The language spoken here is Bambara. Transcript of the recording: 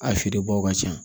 A feerebaw ka ca